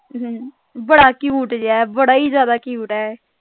ਹਮ ਬੜਾ cute ਜਿਹਾ ਬੜਾ ਹੀ ਜਿਆਦਾ cute ਹੈ